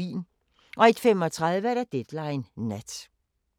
01:35: Deadline Nat